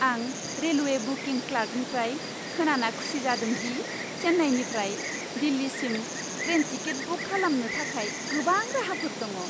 आं railway booking क्लार्कनिफ्राय खोनाना खुसि जादों दि चेन्नाइनिफ्राय दिल्लीसिम ट्रेन टिकेट बुक खालामनो थाखाय गोबां राहाफोर दङ।